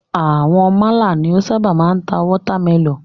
Àwọn málà ni o ṣábà máa ń ta watermẹlọ̀nùù.